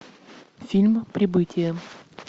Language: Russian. фильм прибытие